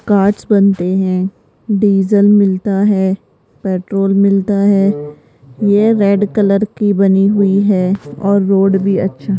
कांच बनते है डीजल मिलता है पेट्रोल मिलता है ये रेड कलर की बनी हुई है और रोड भी अच्छा --